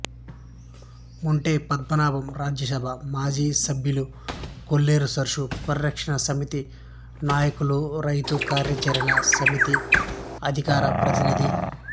మెంటే పద్మనాభం రాజ్యసభ మాజీ సభ్యులు కొల్లేరు సరస్సు పరిరక్షణ సమితి నాయకులు రైతు కార్యాచరణ సమితి అధికార ప్రతినిధి